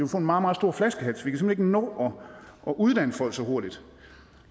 få en meget meget stor flaskehals vi kan ikke nå at uddanne folk så hurtigt og